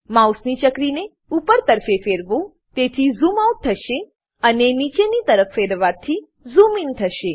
mouse ચક્રીને ઉપર તરફે ફેરવો જેથી ઝૂમ આઉટ થશે અને નીચેની તરફે ફેરવવાથી ઝૂમ ઇન થશે